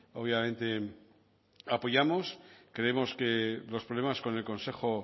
obviamente apoyamos creemos que los problemas con el consejo